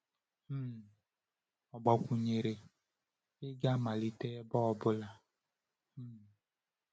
um Ọ gbakwụnyere: “Ị ga-amalite n’ebe ọ bụla.” um